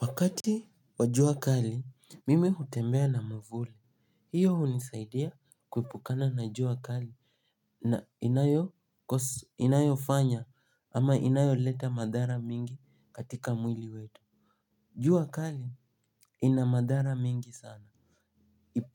Wakati wa jua kali, mimi hutembea na mwavuli. Hiyo hunisaidia kuepukana na jua kali. Na inayofanya ama inayoleta madhara mingi katika mwili wetu. Juu kali, ina madhara mingi sana.